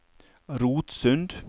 Rotsund